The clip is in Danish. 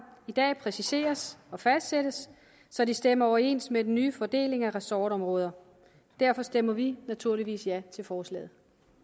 i dag præciseres og fastsættes så de stemmer overens med den nye fordeling af ressortområder derfor stemmer vi naturligvis ja til forslaget